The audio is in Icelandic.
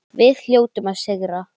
Við hljótum að sigra